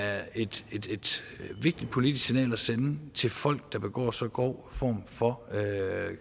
er et vigtigt politisk signal at sende til folk der begår så grov form for